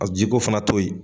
A jiko fana toyi.